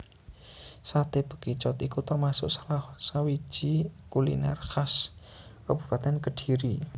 Saté Bekicot iku termasuk salah sawiji kuliner khas Kabupatèn Kediri